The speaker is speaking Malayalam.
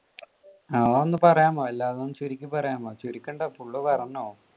അത് ഒന്ന് പറയാമോ എല്ലാം ഒന്ന് ചുരുക്കി പറയാമോ, ചുരുക്കേണ്ട full പറഞ്ഞോ.